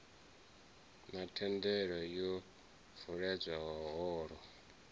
na themendelo yo vuledzwa holo